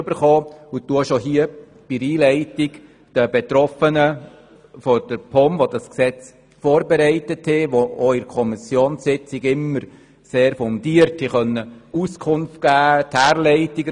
An dieser Stelle danke ich bereits den Betroffenen der POM, die dieses Gesetz vorbereitet haben und in den Kommissionssitzungen immer sehr fundiert Auskunft geben konnten.